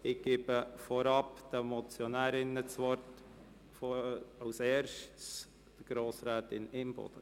Ich gebe vorab den Motionärinnen das Wort, zuerst Grossrätin Imboden.